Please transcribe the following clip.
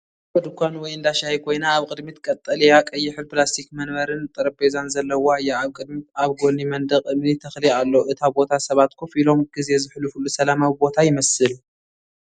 ንእሽቶ ድኳን ወይ እንዳ ሻሂ ኮይና ኣብ ቅድሚት ቀጠልያን ቀይሕን ፕላስቲክ መንበርን ጠረጴዛን ዘለዋ እያ። ኣብ ቅድሚት ኣብ ጎኒ መንደቕ እምኒ ተኽሊ ኣሎ። እቲ ቦታ ሰባት ኮፍ ኢሎም ግዜ ዘሕልፉሉ ሰላማዊ ቦታ ይመስል።